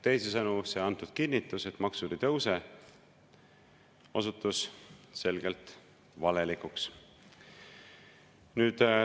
Teisisõnu, antud kinnitus, et maksud ei tõuse, osutus selgelt valelikuks.